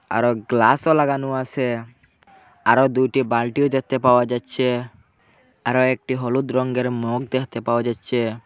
আরো গ্লাসও লাগানো আছে আরো দুইটি বালটিও দেখতে পাওয়া যাচ্ছে আরো একটি হলুদ রঙ্গের মগ দেখতে পাওয়া যাচ্ছে।